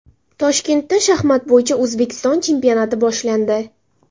Toshkentda shaxmat bo‘yicha O‘zbekiston chempionati boshlandi.